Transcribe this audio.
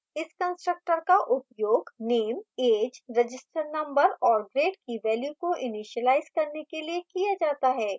इस constructor का उपयोग name age register number और grade की values को इनीशिलाइज करने के लिए किया जाता है